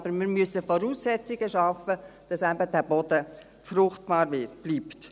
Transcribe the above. Aber wir müssen Voraussetzungen schaffen, damit der Boden eben fruchtbar bleibt.